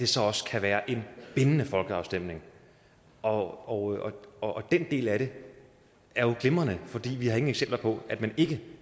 så også kan være en bindende folkeafstemning og og den del af det er glimrende for vi har ingen eksempler på at man ikke